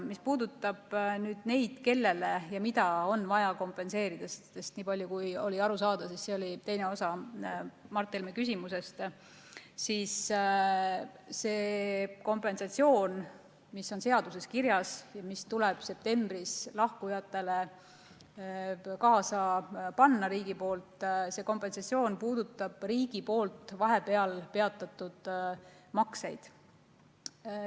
Mis puudutab neid, kellele ja mida on vaja kompenseerida, sest niipalju kui oli aru saada, oli see teine osa Mart Helme küsimusest, siis see kompensatsioon, mis on seaduses kirjas ja mis tuleb septembris lahkujatele riigi poolt kaasa panna, puudutab riigi poolt vahepeal peatatud makseid.